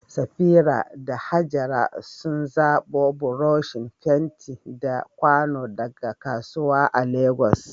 Safira da Hajara sun zabo buroshin fenti da kwano daga kasuwa a Legas.